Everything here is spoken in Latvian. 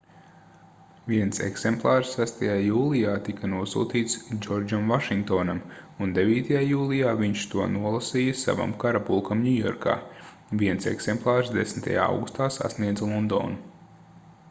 viens eksemplārs 6. jūlijā tika nosūtīts džordžam vašingtonam un 9. jūlijā viņš to nolasīja savam karapulkam ņujorkā viens eksemplārs 10. augustā sasniedza londonu